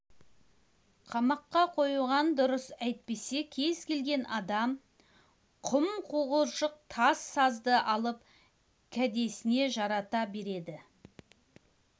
қамаққа қоюған дұрыс әйтпесе кез келген адам құм қуыршық тас сазды алып кәдесіне жарата береді